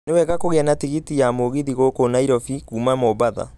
Nĩ wega kũgĩa na tigiti ya mũgithi gũkũ Nairobi kuuma mombatha